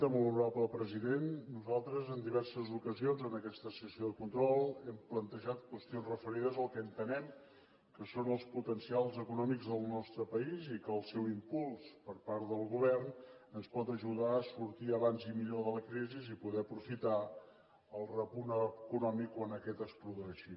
molt honorable president nosaltres en diverses ocasions en aquesta sessió de control hem plantejat qüestions referides al que entenem que són els potencials econòmics del nostre país i que el seu impuls per part del govern ens pot ajudar a sortir abans i millor de la crisi i poder aprofitar el repunt econòmic quan aquest es produeixi